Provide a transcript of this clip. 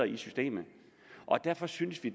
i systemet derfor synes vi